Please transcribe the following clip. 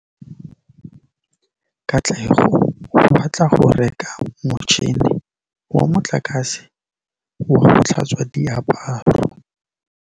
Katlego o batla go reka motšhine wa motlakase wa go tlhatswa diaparo.